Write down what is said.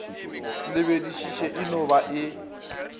lebeledišiše e no ba e